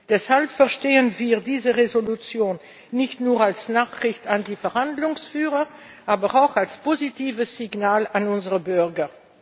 Deshalb verstehen wir diese Entschließung nicht nur als Nachricht an die Verhandlungsführer, sondern auch als positives Signal an unsere Bürger.